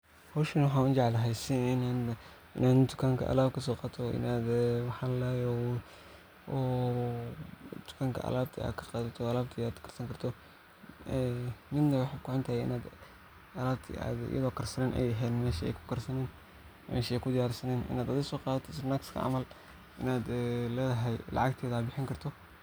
Howshan aniga waxan u jeclahay inaan tukanka alab kaso qatoo oo alabta an karsani karo ,midna waxey kuhuntahay iney alabti ay karsanen ,meshi ay kudiyar sanen inaad adhi soqadato snackska camal ,inaad ledhahay lacag teda aad bixini karto.